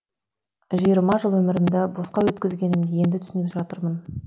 жиырма жыл өмірімді босқа өткізгенімді енді түсініп жатырмын